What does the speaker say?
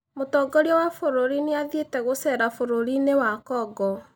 Mũtongoria wa bũrũri nĩ athiĩte gũcera bũrũri-inĩ wa Congo.